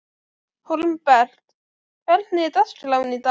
Hólmbert, hvernig er dagskráin í dag?